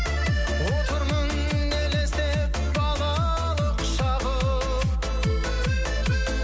отырмын елестеп балалық шағым